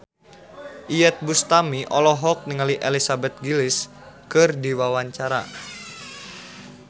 Iyeth Bustami olohok ningali Elizabeth Gillies keur diwawancara